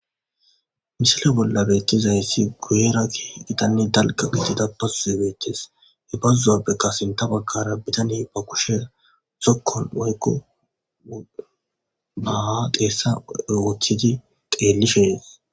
Misile bollan betizays adeza guyra kehipe daliga bazoyi betes bazapeka sinitha bagara ba kushe zokon woyiko ba xesa bolla wothidi xelishe de'es